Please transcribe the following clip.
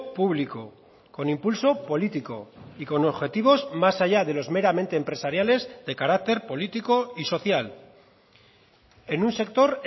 público con impulso político y con objetivos más allá de los meramente empresariales de carácter político y social en un sector